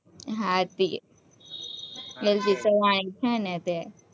હા તે, L. P. savani છે ને તે,